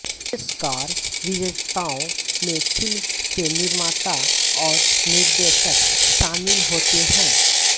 पुरस्कार विजेताओं में फिल्म के निर्माता और निर्देशक शामिल होते हैं